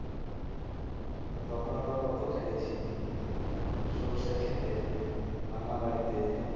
আর তখন আমরা কত খেলেছি সর্ষে খেতে ভাঙা বাড়িতে